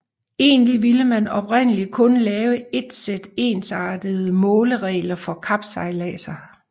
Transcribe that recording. Egentlig ville man oprindeligt kun lave et sæt ensartede måleregler for kapsejladser